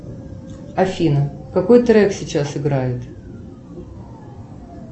афина какой трек сейчас играет